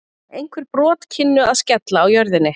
einhver brot kynnu að skella á jörðinni